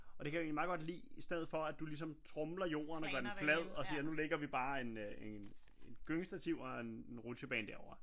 Og det kan jeg egentlig meget godt lide i stedet for at du ligesom tromler jorden og gør den flad og siger nu ligger vi bare en øh et gyngestativ og en rutsjebane derovre